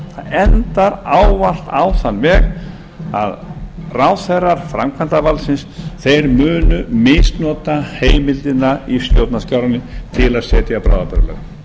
endar ávallt á þann veg að ráðherrar framkvæmdarvaldsins munu misnota heimildina í stjórnarskránni til að setja bráðabirgðalög